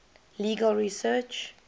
legal research